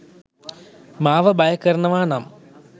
මාව භය කරනවා නම්